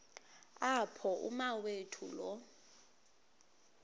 apho umawethu lo